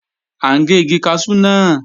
À ń gé igi kaṣú náà